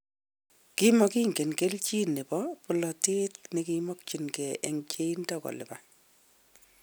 Kimokinge, keljin nebo bolotet nekimokyinge eng cheindo kolupan.